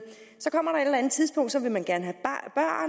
tidspunkt hvor vil man gerne